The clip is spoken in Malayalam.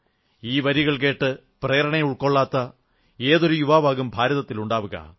ഈ വരികൾ കേട്ട് പ്രേരണയുൾക്കൊള്ളാത്ത ഏതൊരു യുവാവാകും ഭാരതത്തിലുണ്ടാവുക